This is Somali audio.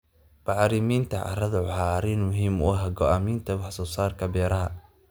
Bacriminta carradu waa arrin muhiim u ah go'aaminta wax soo saarka beeraha.